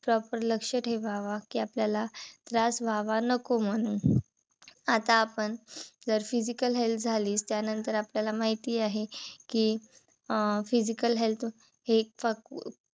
Proper लक्ष ठेवावा. कि आपल्याला त्रास व्हावा नको म्हणून. आता आपण जर physical health झाली त्यानंतर आपल्याला माहिती आहे. कि अं physical health हे एक फक